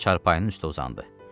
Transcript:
Çarpanın üstə uzandı.